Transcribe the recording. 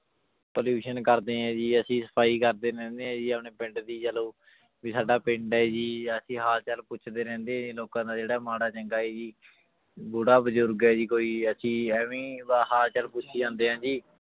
Pollution ਕਰਦੇ ਹੈ ਜੀ ਅਸੀਂ ਸਫ਼ਾਈ ਕਰਦੇ ਰਹਿੰਦੇ ਹਾਂ ਜੀ ਆਪਣੇ ਪਿੰਡ ਦੀ ਚਲੋ ਵੀ ਸਾਡਾ ਪਿੰਡ ਹੈ ਜੀ ਅਸੀਂ ਹਾਲ ਚਾਲ ਪੁੱਛਦੇ ਰਹਿੰਦੇ ਹਾਂ ਜੀ ਲੋਕਾਂ ਦਾ ਜਿਹੜਾ ਮਾੜਾ ਚੰਗਾ ਹੈ ਜੀ ਬੁੜਾ ਬਜ਼ੁਰਗ ਹੈ ਜੀ ਕੋਈ ਅਸੀਂ ਇਵੇਂ ਹੀ ਹਾਲ ਚਾਲ ਪੁੱਛੀ ਜਾਂਦੇ ਹਾਂ ਜੀ